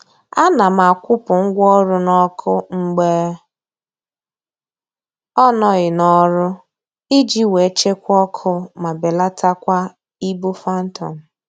A na m akwụpụ ngwa ọrụ n'ọkụ mgbe ọ nọghị n'ọrụ iji wee chekwaa ọkụ ma belatakwa ibu phantom